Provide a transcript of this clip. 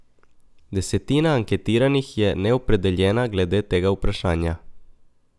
Desetina anketiranih je neopredeljena glede tega vprašanja.